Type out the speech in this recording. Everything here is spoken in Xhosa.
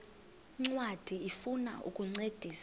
ncwadi ifuna ukukuncedisa